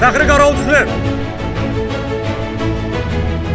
fəxri qaravul sizə!